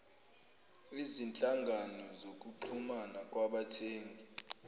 izinhlangano zokuxhumana kwabathengi